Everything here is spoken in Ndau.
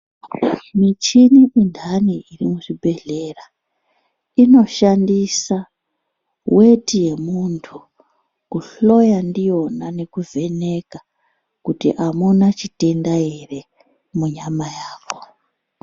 Michini indani iri muzvibhedhlera, inoshandisa weti yemuntu, kuhloya ndiyona nekuvheneka kuti amuna chitenda ere munyama yako.